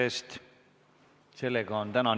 Kohtumiseni homme!